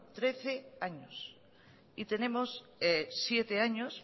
trece años y tenemos siete años